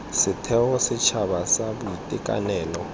setheo sa setšhaba sa boitekanelo